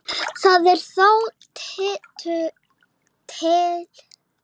það er þó tiltölulega auðvelt að plata okkur